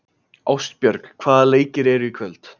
Ástbjörg, hvaða leikir eru í kvöld?